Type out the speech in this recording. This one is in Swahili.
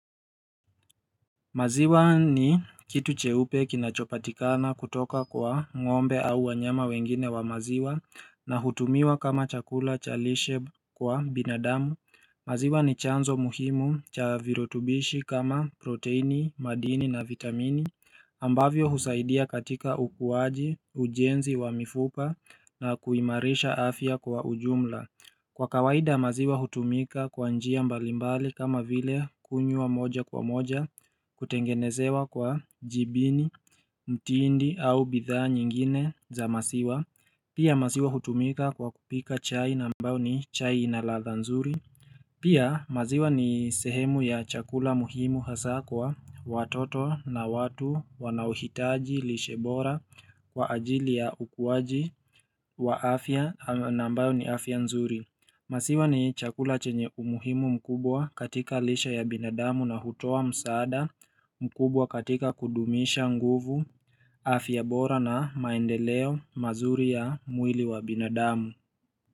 Maziwa ni kitu cheupe kinachopatikana kutoka kwa ng'ombe au wanyama wengine wa maziwa na hutumiwa kama chakula cha lishe kwa binadamu. Maziwa ni chanzo muhimu cha virutubishi kama proteini, madini na vitamini. Ambavyo husaidia katika ukuwaji, ujenzi wa mifupa na kuimarisha afya kwa ujumla. Kwa kawaida maziwa hutumika kwa njia mbalimbali kama vile kunywa moja kwa moja kutengenezewa kwa jibini, mtindi au bidhaa nyingine za masiwa. Pia maziwa hutumika kwa kupika chai na ambao ni chai inaladha nzuri. Pia maziwa ni sehemu ya chakula muhimu hasa kwa watoto na watu wanaohitaji lishe bora kwa ajili ya ukuwaji wa afya na ambayo ni afya nzuri. Masiwa ni chakula chenye umuhimu mkubwa katika lishe ya binadamu na hutoa msaada mkubwa katika kudumisha nguvu afya bora na maendeleo mazuri ya mwili wa binadamu.